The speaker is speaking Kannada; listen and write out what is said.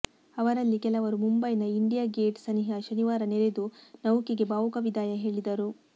ಅವರಲ್ಲಿ ಕೆಲವರು ಮುಂಬೈನ ಇಂಡಿಯಾ ಗೇಟ್ ಸನಿಹ ಶನಿವಾರ ನೆರೆದು ನೌಕೆಗೆ ಭಾವುಕ ವಿದಾಯ ಹೇಳಿದರು